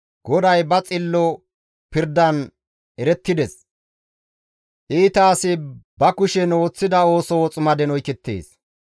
GODAY ba xillo pirdan erettides; iita asi ba kushen ooththida ooso woximaden oykettides.